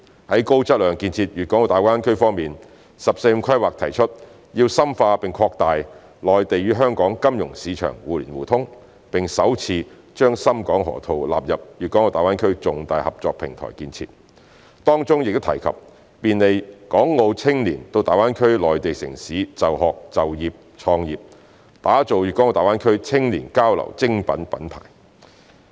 在高質量建設粵港澳大灣區方面，"十四五"規劃提出要深化並擴大內地與香港金融市場互聯互通，並首次把深港河套納入粵港澳重大合作平台建設，當中亦提及便利港澳青年到大灣區內地城市就學、就業、創業，打造粤港澳大灣區青少年交流精品品牌。